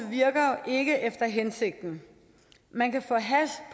virker ikke efter hensigten man kan få hash